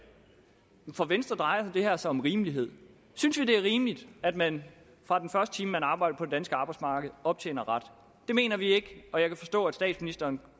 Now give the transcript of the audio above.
for venstre drejer det her sig om rimelighed synes vi det er rimeligt at man fra den første time man arbejder på det danske arbejdsmarked optjener ret det mener vi ikke og jeg kan forstå at statsministeren